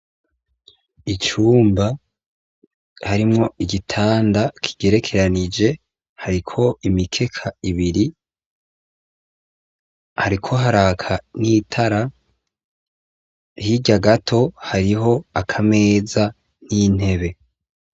Icumba harimwo igitanda kigerekeranije hariko imikeka ibiri, hariko haraka n'itara hirya gato hariho akameza n'intebe.